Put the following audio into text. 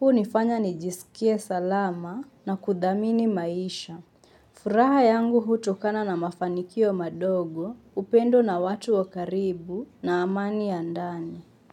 hunifanya nijisikie salama na kudhamini maisha. Furaha yangu hutokana na mafanikio madogo, upendo na watu wa karibu na amani ya ndani.